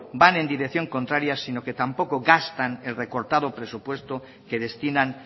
van en dirección contraria sino que tampoco gastan el recortado presupuesto que destinan